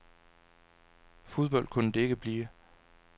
Fodbold kunne det ikke blive.